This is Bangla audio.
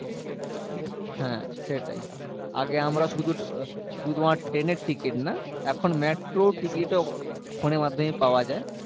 হ্যাঁ সেটাই আগে আমরা শুধু শুধু তোমার train এর ticket না এখন metro ও ticket ও phone এর মাধ্যমে পাওয়া যায়